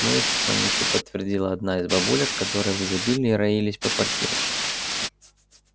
ну и слоники подтвердила одна из бабулек которые в изобилии роились по квартире